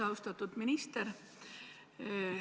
Austatud minister!